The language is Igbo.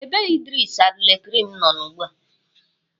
Ebe Idris Abdulkareem nọ ugbu a?